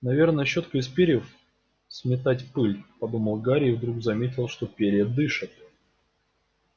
наверное щётка из перьев сметать пыль подумал гарри и вдруг заметил что перья дышат